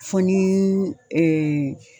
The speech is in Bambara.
Fɔ nii ɛɛ